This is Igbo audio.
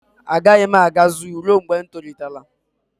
A gaghị m aga zoo ruo mgbe ụmụ m tolitere